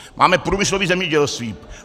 Máme průmyslové zemědělství.